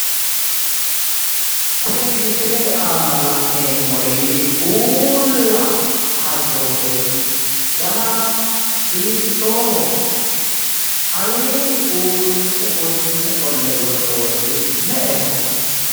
Koye misilete aana la'neemmori uulla karroori dana hiittooho? aleenni uurrinse gonne qolle worroori me'eho?